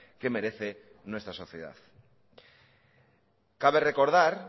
que merece nuestra sociedad cabe recordar